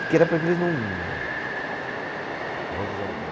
Porque era para que eles não Vamos dar um tem.